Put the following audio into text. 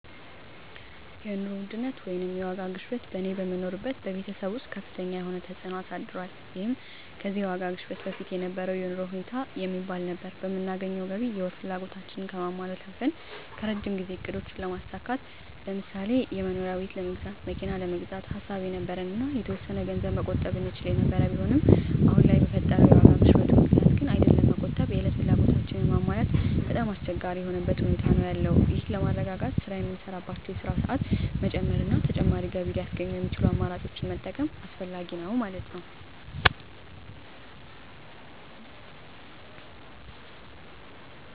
የኑሮ ውድነት ወይንም የዋጋ ግሽበት በእኔ በምኖርበት በቤተሰብ ወስጥ ከፍተኛ የሆነ ተፅእኖ አሳድሯል ይህም ከዚህ የዋጋ ግሽበት በፊት የነበረው የኑሮ ሁኔታ የሚባል ነበር በምናገኘው ገቢ የወር ፍላጎታችን ከማሟላት አልፈን ከረጅም ጊዜ እቅዶችን ለማሳካት ለምሳሌ የመኖሪያ ቤት ለመግዛት መኪና ለመግዛት ሐሳብ የነበረን እና የተወሰነ ገንዘብ መቆጠብ እንችል የነበር ቢሆንም አሁን ለይ በፈጠረው የዋጋ ግሽበቱ ምክንያት ግን አይደለም መቆጠብ የእለት ፍላጎታችን ማሟላት በጣም አስቸጋሪ የሆነበት ሁኔታ ነዎ ያለው ይህን ለማረጋጋት ስራ የምንሳራባቸወን የስራ ሰአት መጨመር እና ተጨማሪ ገቢ ለያስገኙ የሚችሉ አማራጮችን መጠቀም አስፈላጊ ነዉ ማለት ነወ።